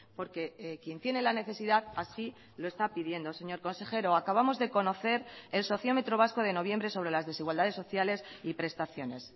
porque quien tiene la necesidad así lo está pidiendo señor consejero acabamos de conocer el sociómetro vasco de noviembre sobre las desigualdades sociales y prestaciones